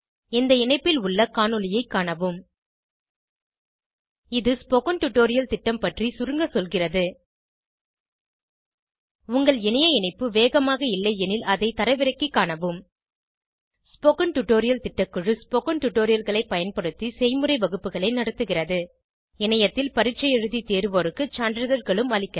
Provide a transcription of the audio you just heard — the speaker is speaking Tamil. இந்த இணைப்பில் உள்ள காணொளியைக் காணவும் இது ஸ்போகன் டுடோரியல் திட்டம் பற்றி சுருங்க சொல்கிறது உங்கள் இணைய இணைப்பு வேகமாக இல்லையெனில் அதை தரவிறக்கிக் காணவும் ஸ்போகன் டுடோரியல் திட்டக்குழு ஸ்போகன் டுடோரியல்களைப் பயன்படுத்தி செய்முறை வகுப்புகள் நடத்துகிறது இணையத்தில் பரீட்சை எழுதி தேர்வோருக்கு சான்றிதழ்களும் அளிக்கிறது